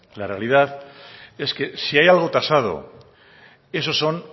la realidad es que si hay algo tasado esos son